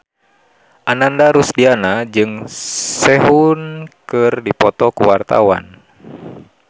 Ananda Rusdiana jeung Sehun keur dipoto ku wartawan